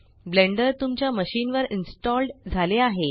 blender तुमच्या machine वर installed झाले आहे